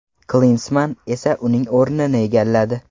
Klinsmann esa uning o‘rnini egalladi.